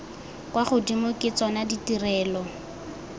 kwa godimo ke tsona ditirelo